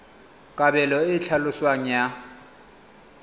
kabelo e e tlhaloswang ya